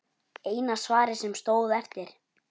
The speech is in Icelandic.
Eina svarið sem stóð eftir.